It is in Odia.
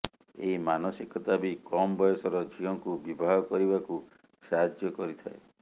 ଏହି ମାନସିକତା ବି କମ ବୟସର ଝିଅଙ୍କୁ ବିବାହ କରିବାକୁ ସାହାର୍ଯ୍ୟ କରିଥାଏ